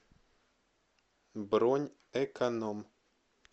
бронь эконом